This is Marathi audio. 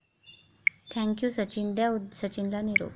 थँक यू सचिन..द्या सचिनला निरोप